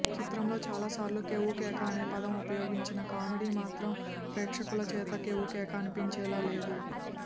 చిత్రంలో చాలా సార్లు కేవ్వుకేక అనే పదం ఉపయోగించిన కామెడీ మాత్రం ప్రేక్షకుల చేత కేవ్వుకేక అనిపించేలా లేదు